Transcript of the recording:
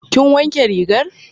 Kin wanke rigar?